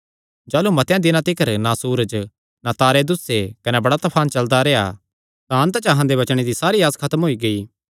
जाह़लू मतेआं दिनां तिकर ना सूरज ना तारे दुस्से कने बड़ा तफान चलदा रेह्आ तां अन्त च अहां दे बचणे दी सारी आस खत्म होई गेई